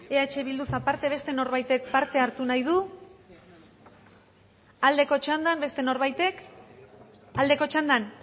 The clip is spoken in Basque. eh bilduz aparte beste norbaitek parte hartu nahi du aldeko txandan beste norbaitek aldeko txandan